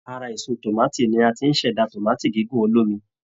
Ara èso tòmátì ni a ti ṣẹ̀dá tòmátì gígùn olómi